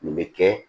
Nin bɛ kɛ